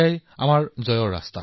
এইটোৱেই আমাৰ বিজয়ৰ পথ